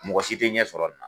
Mɔgɔ si tɛ ɲɛ sɔrɔ a la.